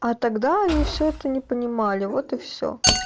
а тогда они всё-таки не понимали вот и все